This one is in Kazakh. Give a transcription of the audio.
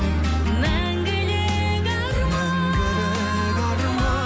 мәңгілік арман мәңгілік